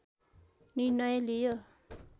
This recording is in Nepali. निर्णय लियो